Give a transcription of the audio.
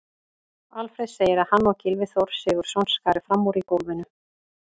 Alfreð segir að hann og Gylfi Þór Sigurðsson skari fram úr í golfinu.